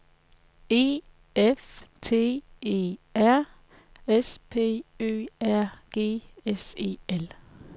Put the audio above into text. E F T E R S P Ø R G S E L